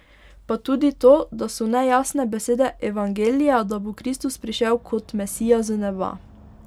Pa tudi to, da so nejasne besede evangelija, da bo Kristus prišel kot Mesija z neba.